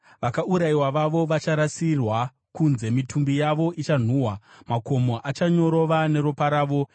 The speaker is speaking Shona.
Vakaurayiwa vavo vacharasirwa kunze, mitumbi yavo ichanhuhwa; makomo achanyorova neropa ravo.